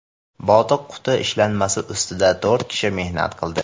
Botiq quti ishlanmasi ustida to‘rt kishi mehnat qildi.